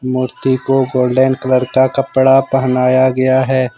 मूर्ति को golden colour का कपड़ा पहनाया गया है।